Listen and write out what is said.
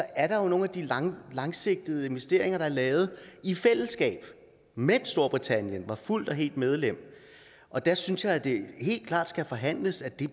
er der nogle af de langsigtede investeringer der er lavet i fællesskab mens storbritannien var fuldt og helt medlem og der synes jeg at det helt klart skal forhandles at det